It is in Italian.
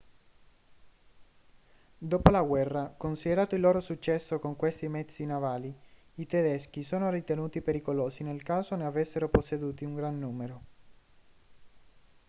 dopo la guerra considerato il loro successo con questi mezzi navali i tedeschi sono ritenuti pericolosi nel caso ne avessero posseduti un gran numero